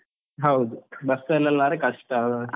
ಹೌದು, bus ಅಲ್ಲಿ ಆದ್ರೆ ಕಷ್ಟ.